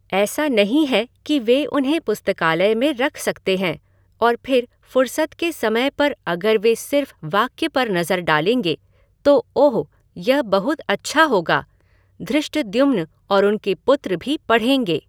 ऐसा नहीं है कि वे उन्हें पुस्तकालय में रख सकते हैं और फिर फ़ुरसत के समय पर अगर वे सिर्फ़ वाक्य पर नज़र डालेंगे, तो ओह! यह बहुत अच्छा होगा। धृष्टद्युम्न और उनके पुत्र भी पढ़ेंगे।